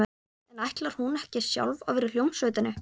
En ætlar hún ekki sjálf að vera í hljómsveitinni?